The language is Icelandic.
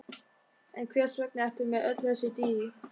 En hvers vegna ertu með öll þessi dýr?